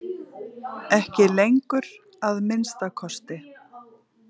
Ekki lengur, að minnsta kosti.